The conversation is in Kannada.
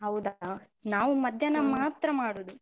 ಹೌದಾ? ನಾವು ಮಧ್ಯಾಹ್ನ ಮಾತ್ರ ಮಾಡುದು.